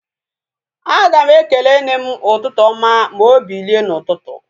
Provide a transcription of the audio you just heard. Aga m ekele nne m ụtụtụ oma ma obilie na ututu